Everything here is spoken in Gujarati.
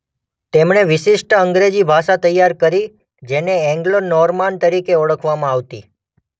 તેમણે વિશિષ્ટ અંગ્રેજી ભાષા તૈયાર કરી જેને એન્ગ્લો નોર્માન તરીકે ઓળખવામાં આવતી.